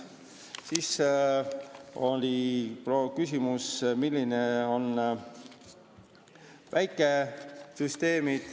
Komisjonis tõusetus küsimus, milline on väikesüsteem.